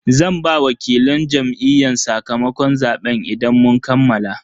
Zan ba wakilan Jam'iyyun sakamakon zaben idan mun kammala.